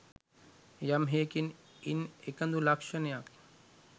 යම් හෙයකින් ඉන් එකදු ලක්ෂණයක්